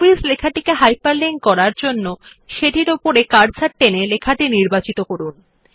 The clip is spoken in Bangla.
হবিস লেখাটিকে হাইপারলিংক করার জন্য প্রথমে শিরোনাম হবিস বরাবর কার্সার টেনে লেখাটি নির্বাচিত করুন